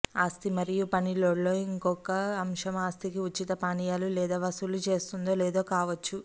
ఆస్తి మరియు పని లోడ్లో ఇంకొక అంశం ఆస్తికి ఉచిత పానీయాలు లేదా వసూలు చేస్తుందో లేదో కావచ్చు